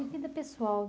E vida pessoal?